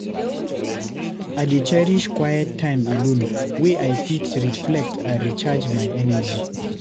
I dey cherish quiet time alone, wey I fit reflect and recharge my energy.